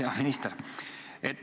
Hea minister!